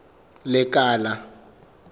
lekala